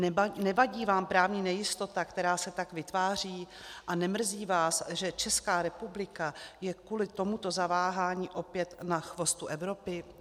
Nevadí vám právní nejistota, která se tak vytváří, a nemrzí vás, že Česká republika je kvůli tomuto zaváhání opět na chvostu Evropy?